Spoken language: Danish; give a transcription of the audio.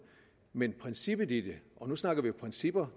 men at princippet i det og nu snakker vi principper